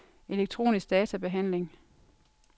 elektronisk databehandling